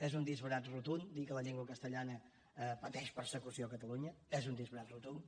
és un disbarat rotund dir que la llengua castellana pateix persecució a catalunya és un disbarat rotund